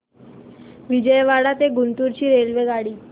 विजयवाडा ते गुंटूर ची रेल्वेगाडी